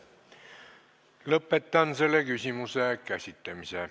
Lõpetan selle küsimuse käsitlemise.